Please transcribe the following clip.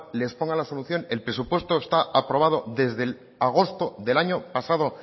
les pongan la solución el presupuesto está aprobado desde agosto del año pasado